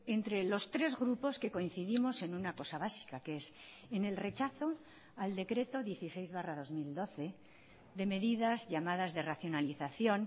entre los tres grupos que coincidimos en una cosa básica que es en el rechazo al decreto dieciséis barra dos mil doce de medidas llamadas de racionalización